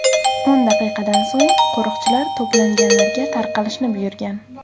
O‘n daqiqadan so‘ng qo‘riqchilar to‘planganlarga tarqalishni buyurgan.